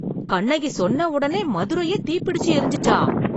கண்ணகி சொன்ன உடனே மதுரையே தீ பிடிச்சு எரிஞ்சுச்சா!